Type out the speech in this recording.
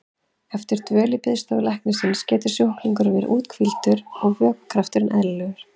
Eftir dvöl í biðstofu læknisins getur sjúklingurinn verið úthvíldur og vöðvakrafturinn eðlilegur.